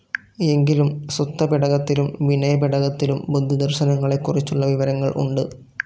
എങ്കിലും സുത്തപിടകത്തിലും വിനയപിടകത്തിലും, ബുദ്ധദർശനങ്ങളെക്കുറിച്ചുള്ള വിവരങ്ങൾ ഉണ്ട്.